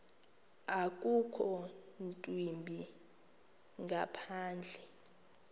akukho ntwimbi ngaphandle